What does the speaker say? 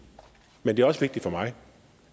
men det er også vigtigt for mig